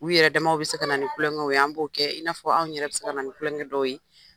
U yɛrɛ damaw bɛ se ka na ni tulonkɛw ye, an b'o kɛ. I n'a fɔ anw yɛrɛ bɛ se ka na ni tulonkɛ dɔw ye.